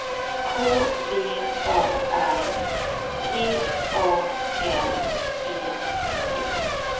K V A R T A L E T